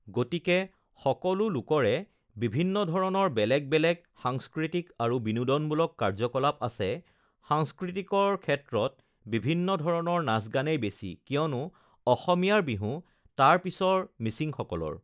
গতিকে সকলো লোকৰে বিভিন্ন ধৰণৰ বেলেগ বেলেগ সাংস্কৃতিক আৰু বিনোদনমূলক কাৰ্যকলাপ আছে সাংস্কৃতিকৰ ক্ষেত্ৰত বিভিন্ন ধৰণৰ নাচ গানেই বেছি কিয়নো অসমীয়াৰ বিহু তাৰপিছৰ মিচিংসকলৰ